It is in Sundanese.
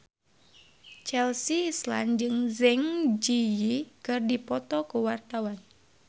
Chelsea Islan jeung Zang Zi Yi keur dipoto ku wartawan